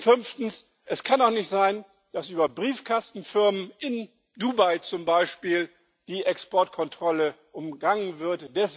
Fünftens Es kann doch nicht sein, dass über Briefkastenfirmen, in Dubai zum Beispiel, die Exportkontrolle umgangen wird.